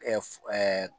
Ɛɛ